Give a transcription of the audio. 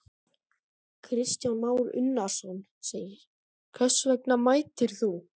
Kristján Már Unnarsson: Hvers vegna mætir þú?